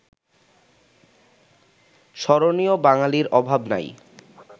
স্মরণীয় বাঙ্গালির অভাব নাই